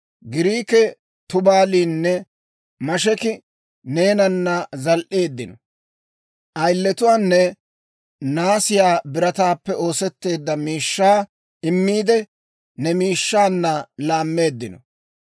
Giriikii, Tubaalinne Mesheki neenana zal"eeddino; ayiletuwaanne naasiyaa birataappe oosetteedda miishshaa immiide, ne miishshaanna laammeeddino.